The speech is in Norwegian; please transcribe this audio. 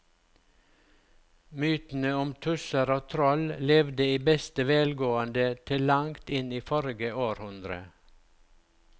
Mytene om tusser og troll levde i beste velgående til langt inn i forrige århundre.